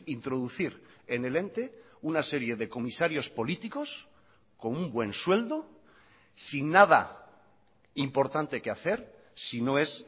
introducir en el ente una serie de comisarios políticos con un buen sueldo sin nada importante que hacer si no es